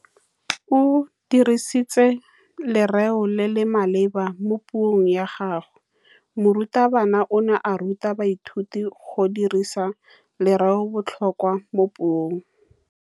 O dirisitse lerêo le le maleba mo puông ya gagwe. Morutabana o ne a ruta baithuti go dirisa lêrêôbotlhôkwa mo puong.